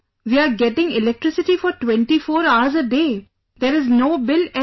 We are getting electricity for 24 hours a day..., there is no bill at all